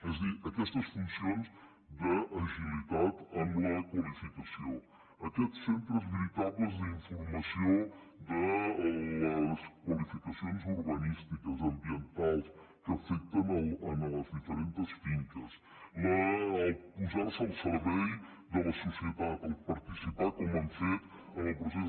és a dir aquestes funcions d’agilitat en la qualificació aquests centres veritables d’informació de les qualificacions urbanístiques ambientals que afecten les diferents finques posar se al servei de la societat participar com han fet en el procés